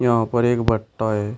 यहां पर एक भट्टा है।